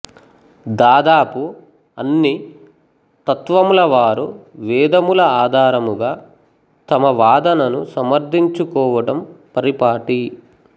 దాదాపు అన్ని తత్వములవారు వేదముల ఆధారముగా తమ వాదనను సమర్ధించుకోవడం పరిపాటి